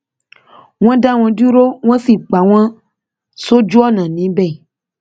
wọn dá wọn dúró wọn sì pa wọn sójú ọnà níbẹ